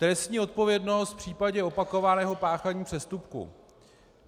Trestní odpovědnost v případě opakovaného páchání přestupků.